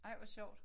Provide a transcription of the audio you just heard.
Ej hvor sjovt